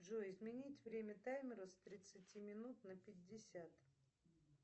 джой изменить время таймера с тридцати минут на пятьдесят